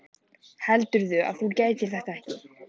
Heldurðu að þú getir þetta ekki?